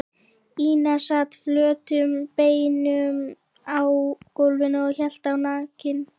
Ína sat flötum beinum á gólfinu og hélt á nakinni